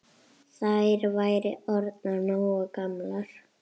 Þær væru orðnar nógu gamlar.